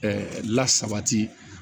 lasabati